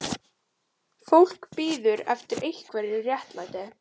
Fólk bíður eftir einhverju réttlæti